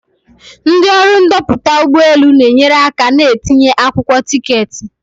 Ndị ọrụ ndoputa ụgbọ elu na-enyere aka na ntinye akwụkwọ tiketi.